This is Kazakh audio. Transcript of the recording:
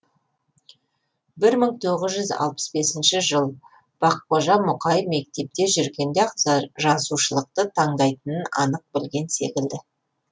бір мың тоғыз жүз алпыс бесінші жыл баққожа мұқаи мектепте жүргенде ақ жазушылықты таңдайтынын анық білген секілді